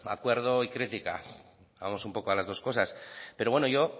acuerdo y crítica vamos un poco a las dos cosas pero bueno yo